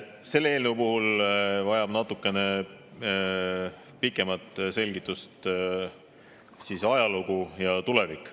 Selle eelnõu puhul vajab natukene pikemat selgitust ajalugu ja tulevik.